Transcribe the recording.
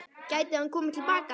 Gæti hann komið til baka?